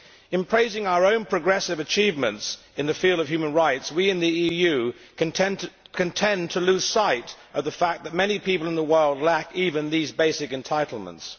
In praising our own progressive achievements in the field of human rights, we in the EU can tend to lose sight of the fact that many people in the world lack even these basic entitlements.